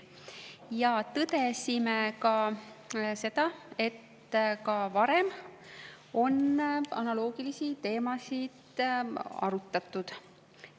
Me tõdesime seda, et ka varem on analoogilisi teemasid arutatud.